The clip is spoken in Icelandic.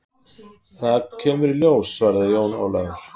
Það kemur í ljós, svaraði Jón Ólafur.